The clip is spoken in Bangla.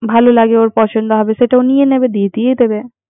ভালো লাগে। ওর পছন্দ হবে যেট ও নিয়ে গিয়ে দিয়ে দিবে।